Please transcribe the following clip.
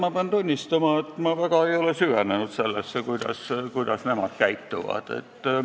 Ma pean tunnistama, et ma väga ei ole süvenenud sellesse, kuidas nemad käituvad.